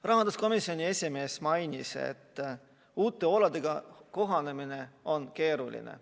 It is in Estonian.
Rahanduskomisjoni esimees mainis, et uute oludega kohanemine on keeruline.